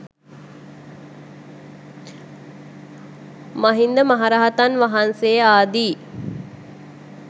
මහින්ද මහරහතන් වහන්සේ ආදි